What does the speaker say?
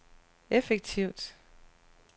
effektivt